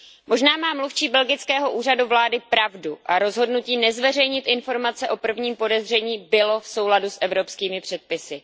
Možná má mluvčí belgického Úřadu vlády pravdu a rozhodnutí nezveřejnit informace o prvním podezření bylo v souladu s evropskými předpisy.